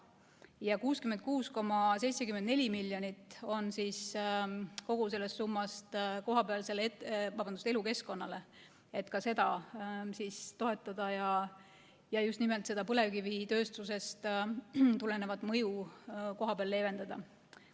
Ja 66,74 miljonit kogu sellest summast on elukeskkonnale, et ka seda toetada ja just nimelt põlevkivitööstusest tulenevat mõju kohapeal leevendada.